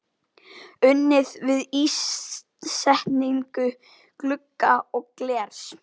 Unnið við ísetningu glugga og glers.